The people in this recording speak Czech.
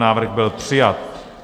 Návrh byl přijat.